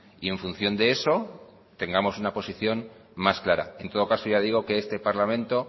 y en función de eso tengamos una posición más clara en todo caso ya digo que este parlamento